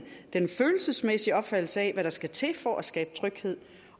den følelsesmæssige opfattelse af hvad der skal til for at skabe tryghed